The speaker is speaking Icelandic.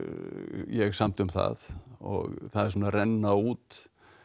ég samdi um það og það er svona að renna út